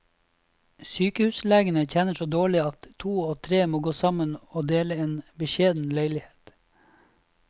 Sykehuslegene tjener så dårlig at to og tre må gå sammen og dele en beskjeden leilighet.